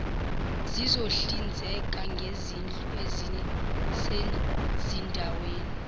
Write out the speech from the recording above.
sizohlinzeka ngezindlu ezisezindaweni